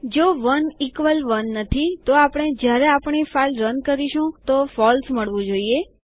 જો ૧ ઇકવલ ૧ નથી તો આપણે જ્યારે આપણી ફાઈલ રન કરીશું તો ફોલ્સ મળવું જોઈએ